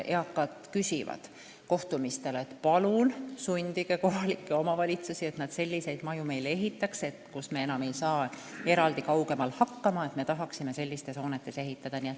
Eakad küsivad kohtumistel selle kohta ja ütlevad, et palun sundige kohalikke omavalitsusi meile selliseid maju ehitama – kui me ei saa enam kaugemal eraldi elades hakkama, siis me tahaksime seal elada.